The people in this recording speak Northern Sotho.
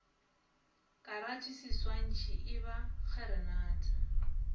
karate seswantšhi e ba kgeranata